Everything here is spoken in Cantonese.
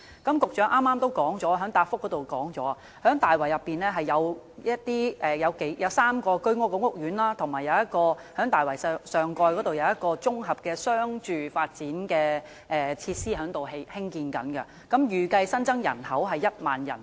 局長剛才在主體答覆中也提到，大圍區內有3個居屋屋苑及港鐵大圍站上蓋的綜合商住發展設施正在興建，預計新增人口為1萬人。